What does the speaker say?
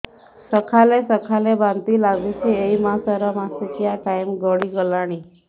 ସକାଳେ ସକାଳେ ବାନ୍ତି ଲାଗୁଚି ଏଇ ମାସ ର ମାସିକିଆ ଟାଇମ ଗଡ଼ି ଗଲାଣି